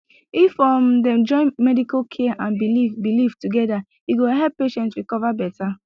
if um dem join medical care and belief belief together e go help patient recover better